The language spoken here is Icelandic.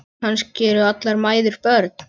Kannski eru allar mæður börn.